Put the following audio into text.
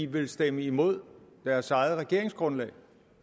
vil stemme imod deres eget regeringsgrundlag